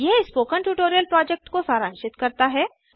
यह spoken tutorial project को सारांशित करता है